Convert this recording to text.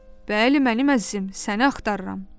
Bəli, mənim əzizim, səni axtarıram.